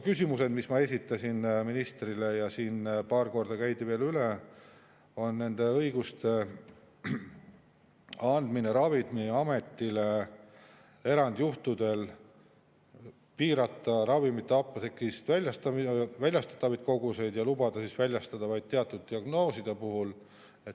Küsimused, mis ma esitasin ministrile, ja need käidi siin paar korda veel üle, on õiguste andmine Ravimiametile erandjuhtudel piirata ravimite apteegist väljastatavaid koguseid ja lubada väljastada vaid teatud diagnooside puhul.